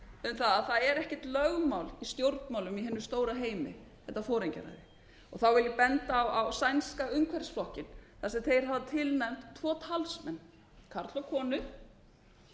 um að það er ekkert lögmál í stjórnmálum í hinum stóra heimi þetta foringjaræði og þá vil ég benda á sænska umhverfisflokkinn þar sem þeir hafa tilnefnt tvo talsmenn karl og konu